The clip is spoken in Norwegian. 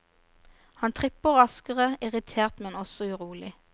Han tripper raskere, irritert men også urolig.